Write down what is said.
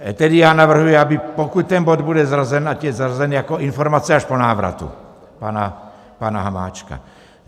Tedy já navrhuji, aby pokud ten bod bude zařazen, ať je zařazen jako informace až po návratu pana Hamáčka.